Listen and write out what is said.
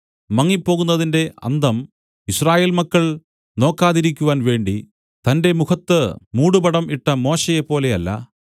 മങ്ങിപ്പോകുന്നതിന്റെ അന്തം യിസ്രായേൽ മക്കൾ നോക്കാതിരിക്കുവാൻ വേണ്ടി തന്റെ മുഖത്ത് മൂടുപടം ഇട്ട മോശെയെപ്പോലെ അല്ല